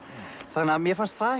þannig að mér fannst það